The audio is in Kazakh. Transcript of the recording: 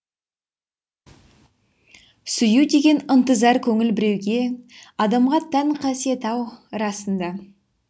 сүю деген ынтызар көңіл біреуге адамға тән қасиет ау расында